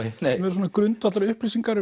svona grundvallar upplýsingar